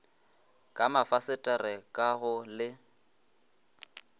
ka mafasetere ka go le